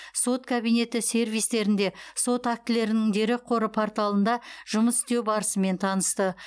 сот кабинеті сервистерінде сот актілерінің дерекқоры порталында жұмыс істеу барысымен танысты